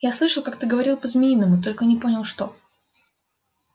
я слышал как ты говорил по-змеиному только не понял что